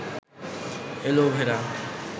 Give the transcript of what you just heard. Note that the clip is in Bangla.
এলোভেরা